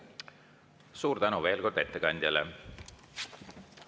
Suur tänu veel kord ettekandjale!